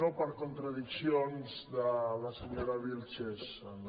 no per contradiccions de la senyora vílchez